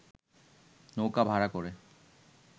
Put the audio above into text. নৌকা ভাড়া করে